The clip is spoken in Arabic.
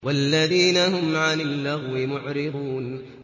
وَالَّذِينَ هُمْ عَنِ اللَّغْوِ مُعْرِضُونَ